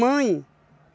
Mãe?